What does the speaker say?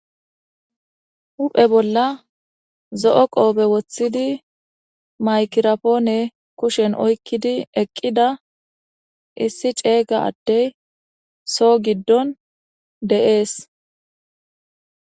hu7he bolla zo7o qoobe woththidi maykirapoone kushen oykkidi eqqida issi ceeyga addey soo giddon de7ees